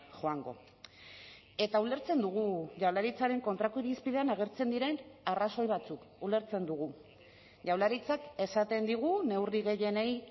joango eta ulertzen dugu jaurlaritzaren kontrako irizpidean agertzen diren arrazoi batzuk ulertzen dugu jaurlaritzak esaten digu neurri gehienei